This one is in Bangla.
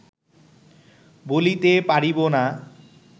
বলিতে পারিব না